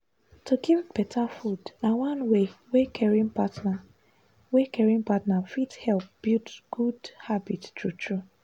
to give better food na one way caring partner way caring partner fit help build good habit true-true.